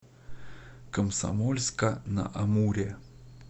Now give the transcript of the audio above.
комсомольска на амуре